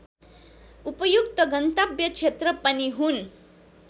उपयुक्त गन्तव्य क्षेत्र पनि हुन्